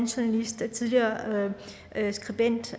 journalist og tidligere skribent